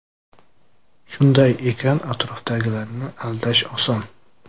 Shunday ekan atrofdagilarni aldash oson.